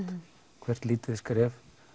hvert lítið skref